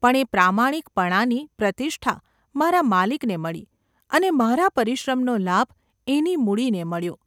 પણ એ પ્રામાણિકપણાની પ્રતિષ્ઠા મારા માલિકને મળી અને મારા પરિશ્રમનો લાભ એની મૂડીને મળ્યો.